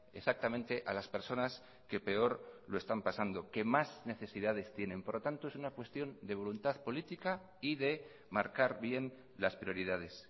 exactamente a las personas que peor lo están pasando que más necesidades tienen por lo tanto es una cuestión de voluntad política y de marcar bien las prioridades